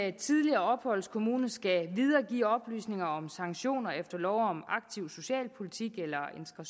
en tidligere opholdskommune skal videregive oplysninger om sanktioner efter lov om aktiv socialpolitik eller